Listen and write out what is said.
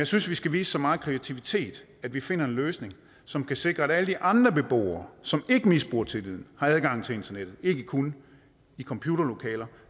synes vi skal vise så meget kreativitet at vi finder en løsning som kan sikre at alle de andre beboere som ikke misbruger tilliden har adgang til internettet ikke kun i computerlokaler